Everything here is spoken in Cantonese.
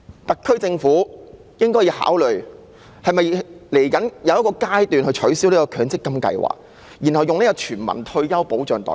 特區政府應考慮未來應否取消強積金制度，然後以全民退休保障代替。